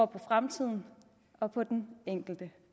på fremtiden og på den enkelte